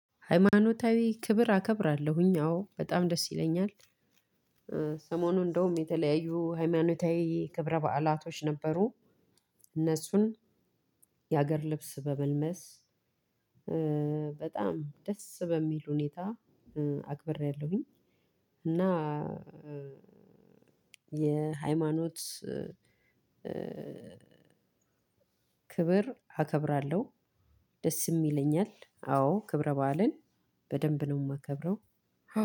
ሃይማኖታዊ ክብር አከብራለሁኝ አዎ በጣም ደስ ይለኛል። ሰሞኑን እንደውም የተለያዩ ሃይማኖታዊ ክብረ በዓላቶች ነበሩ። እነሱን የሀገር ልብስ በመልመስ በጣም ደስ በሚል ሁኔታ አክብሬያለሁኝ። እና የሃይማኖት ክብር አከብራለሁ። ደስም ይለኛል አዎ ክብረ በዓልን በደንብ ነው የማከብረው።